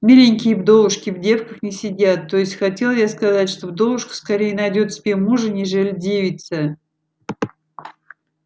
миленькие вдовушки в девках не сидят то есть хотел я сказать что вдовушка скорее найдёт себе мужа нежели девица